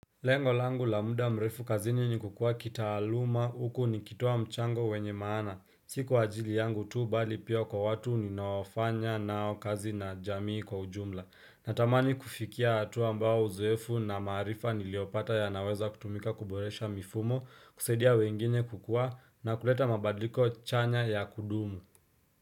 Lengo langu la muda mrefu kazini ni kukua kitaaluma huku nikitoa mchango wenye maana siku wajili yangu tu bali pio kwa watu ninaofanya nao kazi na jamii kwa ujumla natamani kufikia hatua ambao uzoefu na maarifa niliopata yanaweza kutumika kuboresha mifumo kusaidia wengine kukua na kuleta mabadiliko chanya ya kudumu.